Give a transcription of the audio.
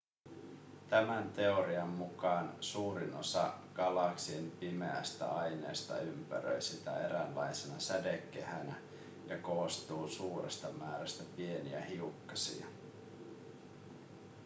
tämän teorian mukaan suurin osa galaksin pimeästä aineesta ympäröi sitä eräänlaisena sädekehänä ja koostuu suuresta määrästä pieniä hiukkasia